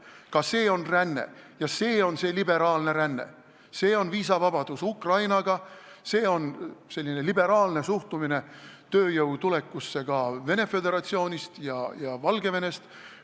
Ka see on ränne, see on see liberaalne ränne, see on viisavabadus Ukrainaga, see on liberaalne suhtumine tööjõu tulekusse ka Venemaa Föderatsioonist ja Valgevenest.